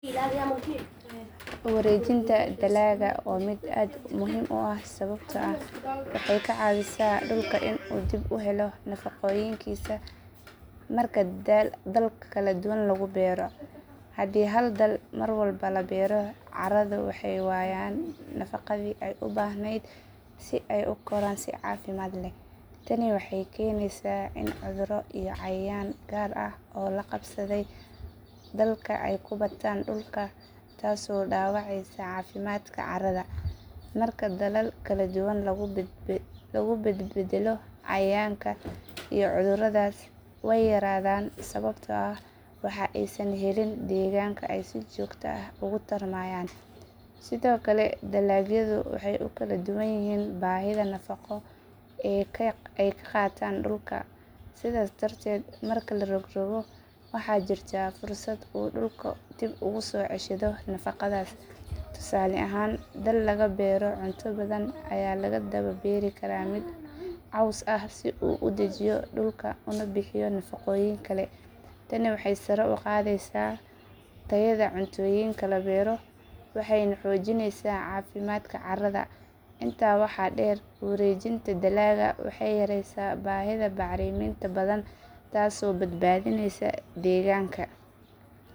Warejinta daalaga wa mid aad muxiim u ah sawabto ah waxay lacawisa dulka in uu helo nafagoyinka marka dalagaa kaladuwan lagubero, hadhii hal daalag marwalbo labero carada waxay wayaan nafagadhii ay ubahned si ay ukoraan si cafimad leh, taani waxay kenwysa in cuduro iyo cayayan gaar ah oo lagabsaday dalka ay kubataan dalka, taasi oo dawaceusa cafimadka carada, marka dalal badbadan lagubadalo cayayanka iyo cudurada way yaradan sawabto ah waxa ay san helin deganka aya si jogta ah ogutarman, sidhokale dalagyada waxay ukaladuwan yixii bahida nafago ay kagataan dulka sidas darded marka larogrogo waxa jirta fursat uu dulka diib ogusoceshado nafagadas, tusale ahan in lagabero cunta badan aya lagadawa beri karaa mid coos ah si udajiyo nafagoyinka , taani waxay korugadeysa tayada cuntoyinka waxayna hojinaysa cafimadka carada inta waxa deer warejinta dalaqaa, waxay yareysa tayada bacraminta badan taas oo badbadinaysa.